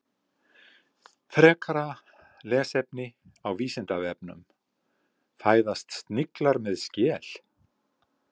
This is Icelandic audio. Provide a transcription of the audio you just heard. Frekara lesefni á Vísindavefnum: Fæðast sniglar með skel?